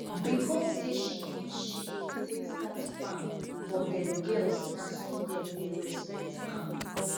because say she give sheep to take start farm for them girls na so them dey respect am